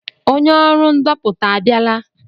Onye ọrụ ndopụta a bịala?